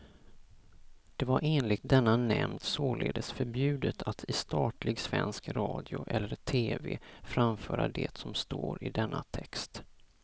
Det var enligt denna nämnd således förbjudet att i statlig svensk radio eller tv framföra det som står i denna text.